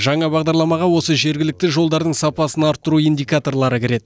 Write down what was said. жаңа бағдарламаға осы жергілікті жолдардың сапасын арттыру индикаторлары кіреді